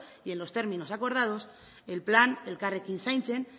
y en los términos acordados el plan elkarrekin zaintzen